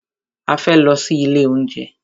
A fẹ́ lọ sí ilé oúnjẹ.